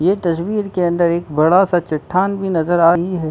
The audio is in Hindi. ये तस्वीर के अंदर एक बड़ा स चट्टान भी नजर आ रही है।